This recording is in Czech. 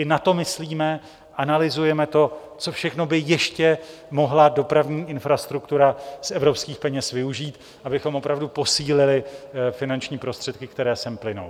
I na to myslíme, analyzujeme to, co všechno by ještě mohla dopravní infrastruktura z evropských peněz využít, abychom opravdu posílili finanční prostředky, které sem plynou.